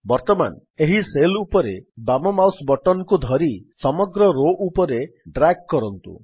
ବର୍ତ୍ତମାନ ଏହି ସେଲ୍ ଉପରେ ବାମ ମାଉସ୍ ବଟନ୍ କୁ ଧରି ସମଗ୍ର ରୋ ଉପରେ ଡ୍ରାଗ୍ କରନ୍ତୁ